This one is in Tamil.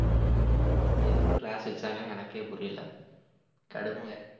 ஆமா எதுக்கு class வெச்சானுங்கன்னு எனக்கே புரியல கடுப்பா இருக்கு